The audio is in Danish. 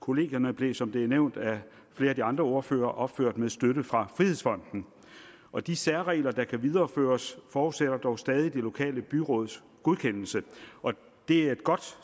kollegierne blev som det er nævnt af flere af de andre ordførere opført med støtte fra frihedsfonden og de særregler der kan videreføres forudsætter dog stadig det lokale byråds godkendelse og det er et godt